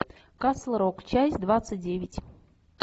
касл рок часть двадцать девять